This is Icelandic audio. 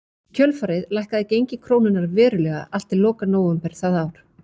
Í kjölfarið lækkaði gengi krónunnar verulega allt til loka nóvember það ár.